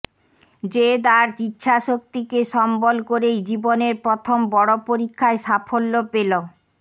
জেদ আর ইচ্ছাশক্তিকে সম্বল করেই জীবনের প্রথম বড় পরীক্ষায় সাফল্য পেল